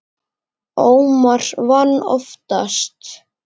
Ómar vann oftast.